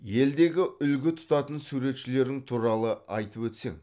елдегі үлгі тұтатын суретшілерің туралы айтып өтсең